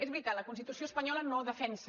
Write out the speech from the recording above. és veritat la constitució espanyola no defensa